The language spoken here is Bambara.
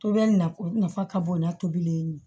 To bɛ na nafa ka bon n'a tobili ye